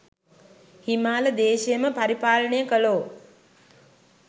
හිමාල දේශයම පරිපාලනය කළෝ,